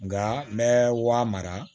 Nka n bɛ wari mara